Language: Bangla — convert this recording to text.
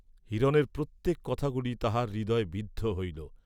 হিরণের প্রত্যেক কথা গুলি তাহার হৃদয়ে বিদ্ধ হইল।